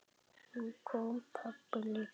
Nú kom pabbi líka inn.